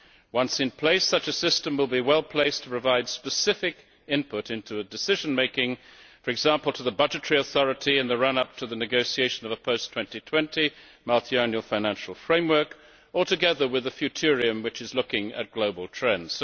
Once in place, such a system will be well placed to provide specific input into decision making, for example to the budgetary authority in the run up to the negotiation of a first 2020 multiannual financial framework, or together with the Futurium which is looking at global trends.